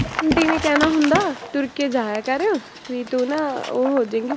aunty ਵੀ ਕਹਿਣਾ ਹੁੰਦਾ ਤੁਰ ਕੇ ਜਾਇਆ ਕਰ, ਵੀ ਤੂੰ ਨਾ ਉਹ ਹੋ ਜਾਏਂਗੀ,